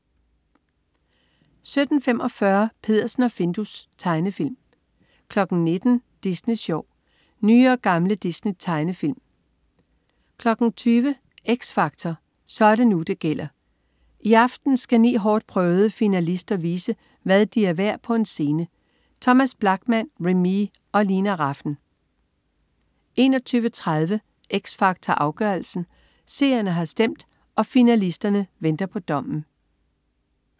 17.45 Peddersen og Findus. Tegnefilm 19.00 Disney Sjov. Nye og gamle Disney-tegnefilm 20.00 X Factor. Så er det nu, det gælder! I aften skal ni hårdtprøvede finalister vise, hvad de er værd på en scene. Thomas Blachman, Remee og Lina Rafn 21.30 X Factor Afgørelsen. Seerne har stemt, og finalisterne venter på dommen